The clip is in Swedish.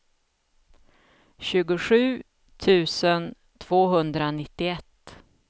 tjugosju tusen tvåhundranittioett